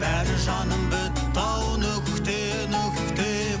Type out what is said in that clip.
бәрі жаным бітті ау нүкте нүкте